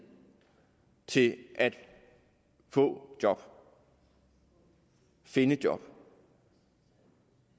til at få job finde job